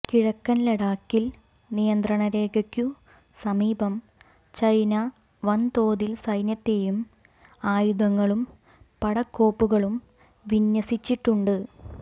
കിഴക്കൻ ലഡാക്കിൽ നിയന്ത്രണ രേഖയ്ക്കു സമീപം ചൈന വൻതോതിൽ സൈന്യത്തെയും ആയുധങ്ങളും പടക്കോപ്പുകളും വിന്യസിച്ചിട്ടുണ്ട്